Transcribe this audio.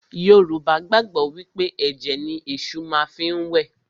Yorùbá gbàgbọ́ wí pé ẹ̀jẹ̀ ni Èṣù má fi ń wẹ̀